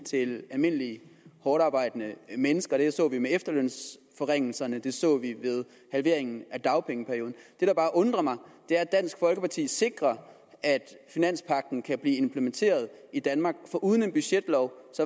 til almindelige hårdtarbejdende mennesker det så vi med efterlønsforringelserne det så er vi ved halveringen af dagpengeperioden det der bare undrer mig er at dansk folkeparti sikrer at finanspagten kan blive implementeret i danmark for uden en budgetlov